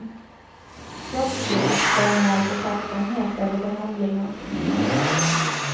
Trots det känner jag alltså tacksamhet över behandlingen.